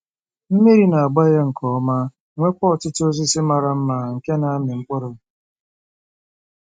Mmiri na-agba ya nke ọma, nweekwa ọtụtụ osisi mara mma nke na-amị mkpụrụ.